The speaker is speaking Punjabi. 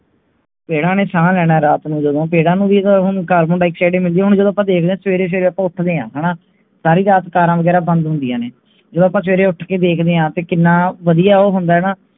ਪੇੜਾਂ ਨੇ ਸਾਹ ਲੈਣਾ ਹੈ ਰਾਤ ਨੂੰ ਜਦੋ ਪੈੜਾਂ ਨੂੰ ਵੀ ਤਾਂ ਹੁਣ carbon dioxide ਹੀ ਮਿਲਿਦੀ ਹੈ ਹੁਣ ਜਦੋ ਆਪਾਂ ਦੇਖਦੇ ਹਨ ਸਵੇਰੇ ਸਵੇਰੇ ਆਪਾਂ ਉਠਦੇ ਹਾਂ ਹੈਨਾ ਸਾਰੀ ਰਾਤ ਕਾਰਾਂ ਵਗੈਰਾ ਬੰਦ ਹੁੰਦੀਆਂ ਨੇ ਜਦੋ ਆਪਾਂ ਸਵੇਰੇ ਉੱਠ ਕੇ ਦੇਖਦੇ ਹਾਂ ਤੇ ਕਿਹਨਾਂ ਵਧੀਆ ਉਹ ਹੁੰਦਾ ਹੈਨਾ